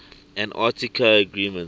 antarctica agreements